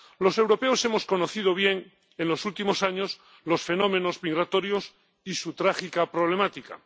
Los europeos hemos conocido bien en los últimos años los fenómenos migratorios y su trágica problemática.